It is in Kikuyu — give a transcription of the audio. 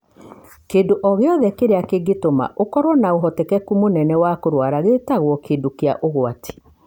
Kĩndũ o gĩothe kĩrĩa kĩngĩtũma ũkorũo na ũhotekeku mũnene wa kũrwara gĩtagwo kĩndũ kĩa ũgwati.